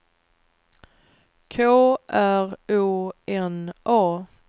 K R O N A